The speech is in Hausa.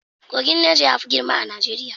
Kogin Neja yafi girma a Najeriya.